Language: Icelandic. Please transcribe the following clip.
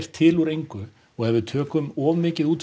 til úr engu og ef við tökum of mikið út